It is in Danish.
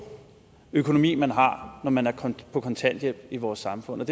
økonomi man har når man er på kontanthjælp i vores samfund men